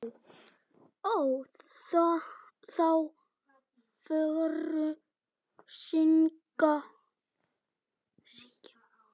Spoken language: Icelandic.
Ó þá fögru steina.